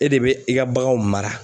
E de bɛ i ka baganw mara.